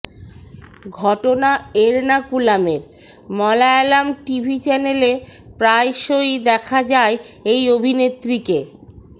ঘটনা এরনাকুলমের মলায়লাম টিভি চ্যানেলে প্রায়সয়ি দেখা যায় এই অভিনেত্রীকে